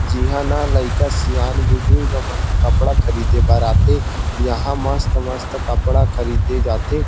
जिहा ना लईका सियान बुजुर्ग मन ह कपडा ख़रीदे बर आथे यहाँ मस्त-मस्त कपड़ा ख़रीदे जाथे।